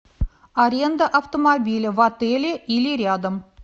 аренда автомобиля в отеле или рядом